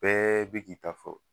Bɛɛ be k'i ta fɔ